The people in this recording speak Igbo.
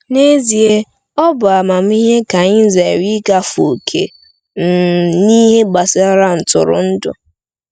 N’ezie, ọ bụ amamihe ka anyị zere igafe ókè um n’ihe gbasara ntụrụndụ.